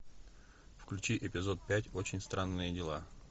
включи эпизод пять очень странные дела